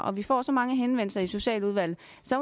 og vi får så mange henvendelser i socialudvalget